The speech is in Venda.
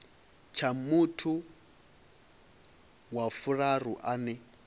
tsha muthu wa vhuraru ane